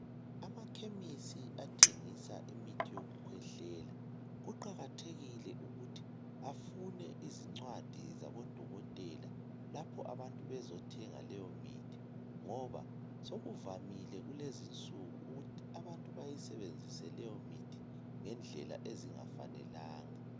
Amakhemisi athengisa imithi yokukhwehlela kuqakathekile ukuthi afune izincwadi zabodokotela lapho abantu bezothenga leyo mithi ngoba sokuvamile kulezi insuku ukuthi abantu bayisebenzise leyo mithi ngendlela ezingafanelanga.